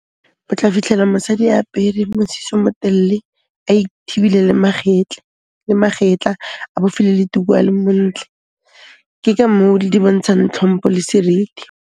O tla fitlhela mosadi apere mosese o mo telle, a ithibile le magetla, a bofile le tuku a le montle. Ke ka moo di dontshang tlhompho le seriti.